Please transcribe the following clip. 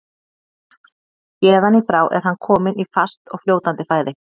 Héðan í frá er hann kominn í fast og fljótandi fæði.